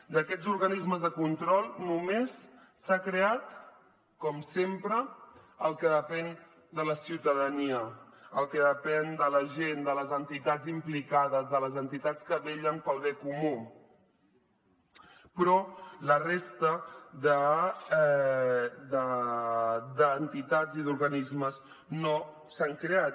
d’aquests organismes de control només s’ha creat com sempre el que depèn de la ciutadania el que depèn de la gent de les entitats implicades de les entitats que vetllen pel bé comú però la resta d’entitats i d’organismes no s’han creat